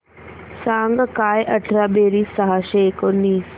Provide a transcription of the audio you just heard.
सांग काय अठरा बेरीज सहाशे एकोणीस